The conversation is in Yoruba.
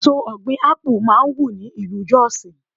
Èso ọ̀gbìn Ápù máa wù ní ìlú Jos.